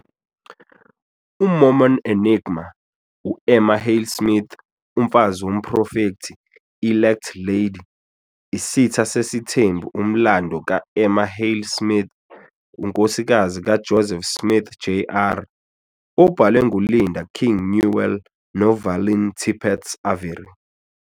UMormon Enigma- U-Emma Hale Smith, Umfazi Womprofethi, "Elect Lady," Isitha Sesithembu umlando ka- Emma Hale Smith, unkosikazi kaJoseph Smith Jr., obhalwe nguLinda King Newell noValeen Tippetts Avery.